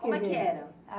Como era?